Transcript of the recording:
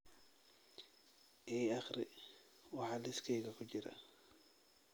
i akhri waxa liiskayga ku jira